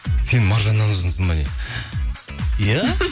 сен маржаннан ұзынсың ба не иә